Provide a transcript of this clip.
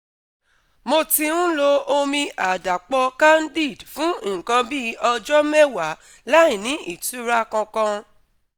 mo ti ń lo omi àdàpọ̀ Candid fún nǹkan bí ọjọ́ mẹ́wàá láìní ìtura kankan